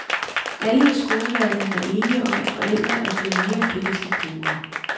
Alle i skoleverdenen er enige om, at forældre er blevet mere kritiske brugere.